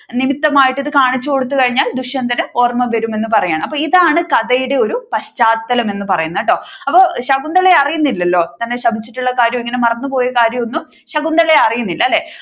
നിമിത്തമായി ഇത് ഒന്ന് കാണിച്ചുകൊടുത്തു കഴിഞ്ഞാൽ ദുഷ്യന്തൻ ഓർമ വരും എന്ന് പറയുകയാണ് അപ്പൊ ഇതാണ് കഥയുടെ ഒരു പശ്ചാത്തലം എന്ന് പറയുന്നത് കേട്ടോ അപ്പൊ ശകുന്തള അറിയുന്നില്ലലോ തന്നെ ശപിച്ചിട്ടുള്ള കാര്യം ഇങ്ങനെ മറന്നുപോയ കാര്യം ഒന്നും ശകുന്തള അറിയുന്നില്ല അല്ലെ